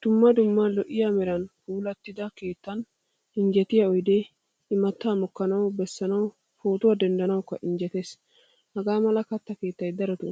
Dumma dumma lo'iyaa meran puulattida keettan injjettiya oyde, immata mokkanawu bessanawu pootuwaa denddanawukko injjetees. Hagaamala katta keettay darotto